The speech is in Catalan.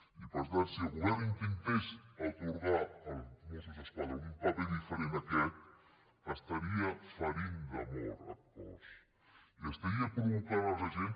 i per tant si el govern intentés atorgar als mossos d’esquadra un paper diferent d’aquest estaria ferint de mort el cos i estaria provocant als agents